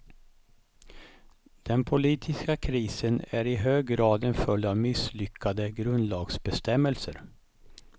Den politiska krisen är i hög grad en följd av misslyckade grundlagsbestämmelser.